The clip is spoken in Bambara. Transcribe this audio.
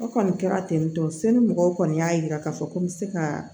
O kɔni kɛra ten tɔ seli mɔgɔw kɔni y'a yira k'a fɔ ko n bɛ se ka